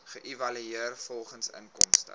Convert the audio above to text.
geëvalueer volgens inkomste